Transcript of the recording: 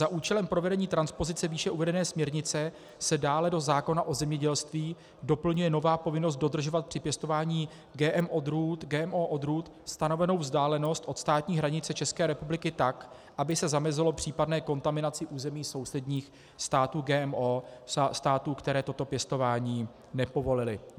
Za účelem provedení transpozice výše uvedené směrnice se dále do zákona o zemědělství doplňuje nová povinnost dodržovat při pěstování GMO odrůd stanovenou vzdálenost od státní hranice České republiky tak, aby se zamezilo případné kontaminaci území sousedních států GMO, států, které toto pěstování nepovolily.